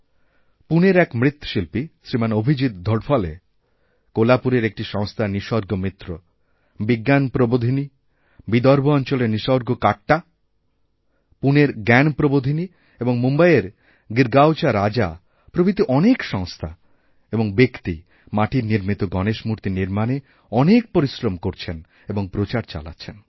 পুনের এক মৃৎশিল্পী শ্রীমানঅভিজিৎ ধোড়ফলে কোলাপুরের একটি সংস্থা নিসর্গ মিত্র বিজ্ঞানপ্রবোধিনী বিদর্ভঅঞ্চলের নিসর্গ কাট্টা পুনের জ্ঞানপ্রবোধিনী এবং মুম্বইয়ের গিরগাওচা রাজা প্রভৃতিঅনেক সংস্থা এবং ব্যক্তি মাটির নির্মিত গণেশ মূর্তি নির্মাণে অনেক পরিশ্রম করছেনএবং প্রচার চালাচ্ছেন